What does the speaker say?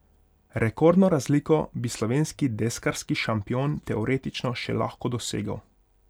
Rekordno razliko bi slovenski deskarski šampion teoretično še lahko dosegel.